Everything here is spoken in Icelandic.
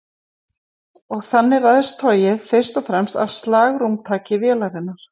þannig ræðst togið fyrst og fremst af slagrúmtaki vélarinnar